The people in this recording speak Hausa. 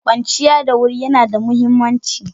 Kwanciya da wuri yana da muhimmanci.